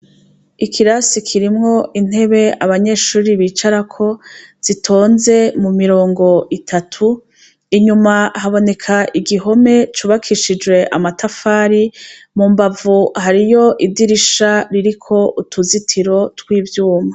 Ikirasi kirimwo intebe abanyshuri bicarako, zitonze mu mirongo itatu, inyuma haboneka igihome cubakishijwe amatafari, mu mbavu hariyo idirisha rifise utuzitiro tw' ivyuma.